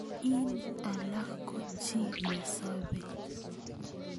ing alak ko chi nesobei.